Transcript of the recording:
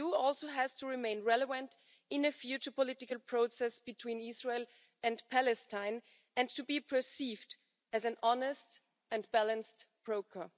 The EU also has to remain relevant in a future political process between Israel and Palestine and to be perceived as an honest and balanced broker.